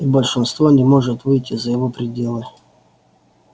и большинство не может выйти за его пределы